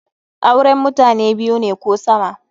Auren mutane biyu ne ko sama.